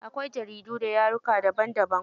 Akwai jaridu da yaruka daban daban.